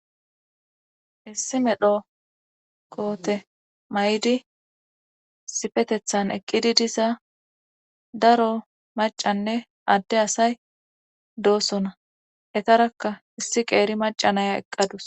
Issi medho koote may'di sifetethan eqqidi diza daro macanne adde asay doosona etarakka issi qeeri macanaya eqqadus.